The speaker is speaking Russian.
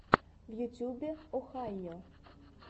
в ютюбе охайо